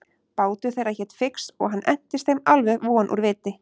Bátur þeirra hét Fix og hann entist þeim alveg von úr viti.